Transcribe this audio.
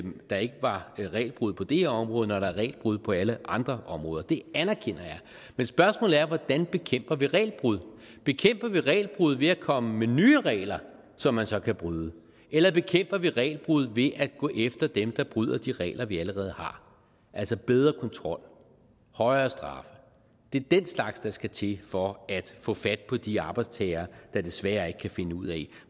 der ikke var regelbrud på det her område når der er regelbrud på alle andre områder det anerkender jeg men spørgsmålet er hvordan vi bekæmper regelbrud bekæmper vi regelbrud ved at komme med nye regler som man så kan bryde eller bekæmper vi regelbrud ved at gå efter dem der bryder de regler vi allerede har altså bedre kontrol højere straffe det er den slags der skal til for at få fat på de arbejdstagere der desværre ikke kan finde ud af